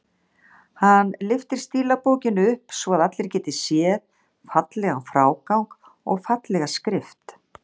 Hann lyftir stílabókinni upp svo að allir geti séð fallegan frágang og fallega skrift.